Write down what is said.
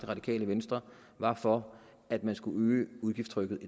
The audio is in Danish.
radikale venstre var for at man skulle øge udgiftstrykket